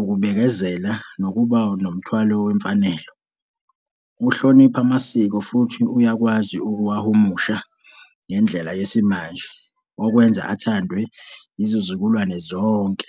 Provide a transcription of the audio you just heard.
ukubekezela nokuba nomthwalo wemfanelo. Uhlonipha amasiko futhi uyakwazi ukuwahumusha ngendlela yesimanje, okwenza athandwe izizukulwane zonke.